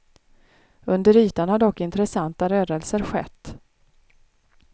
Under ytan har dock intressanta rörelser skett.